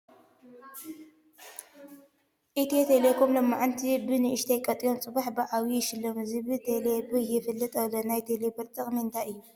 ኢትዮ ቴሌኮም ሎማዓንቲ ብ ንእሽቶይ ቆጢቦም ፅባሕ ብ ዓብዪ ይሸለሙ ዝብል ቴሌ ብር የፋልጥ ኣሎ ። ናይ ቴሌ ብር ጥቅሚ እንታይ እዩ ?